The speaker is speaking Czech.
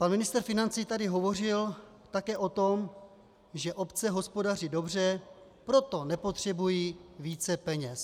Pan ministr financí tady hovořil také o tom, že obce hospodaří dobře, proto nepotřebují více peněz.